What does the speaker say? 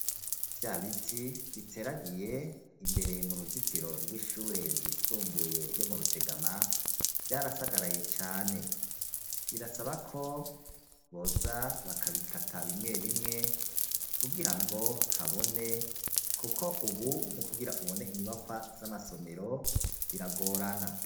Vya biti, biteragiye imbere mu ruzitiro rw'ishure ryisumbuye ryo mu Rutegama, vyarasagaraye cane; birasaba ko boza bakabikata bimwe bimwe, kugira ngo habone, kuko ubu no kugira ubone inyubakwa z'amasomero, biragorana.